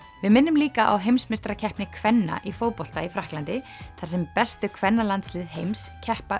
við minnum líka á heimsmeistarakeppni kvenna í fótbolta í Frakklandi þar sem bestu kvennalandslið heims keppa